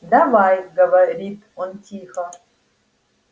давай говорит он тихо